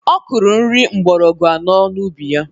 Ọ kụrụ nri mgbọrọgwụ anọ n'ubi ya